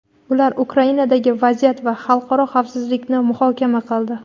Ular Ukrainadagi vaziyat va xalqaro xavfsizlikni muhokama qildi.